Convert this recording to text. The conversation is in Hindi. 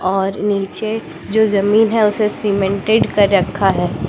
और नीचे जो जमीन है उसे सीमेंटेड कर रखा है।